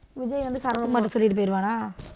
விஜய் வந்து சரத் குமார்கிட்ட சொல்லிட்டு போயிடுவானா,